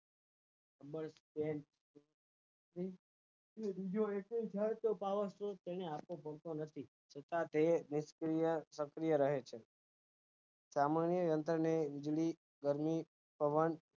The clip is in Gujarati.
તે બીજો વિપુલભાઈ તે power set કરી આપે કદી ભૂલતો નથી છતાં તે નિષ્ક્રિય સક્રિય રહે છે સામન્ય રીત ની પવન